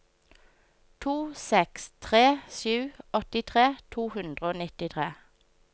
to seks tre sju åttitre to hundre og nittitre